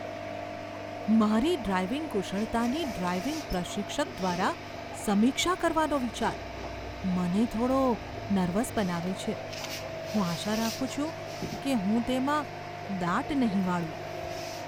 મારી ડ્રાઇવિંગ કુશળતાની ડ્રાઇવિંગ પ્રશિક્ષક દ્વારા સમીક્ષા કરવાનો વિચાર મને થોડો નર્વસ બનાવે છે. હું આશા રાખું છું કે હું તેમાં દાટ નહીં વાળું.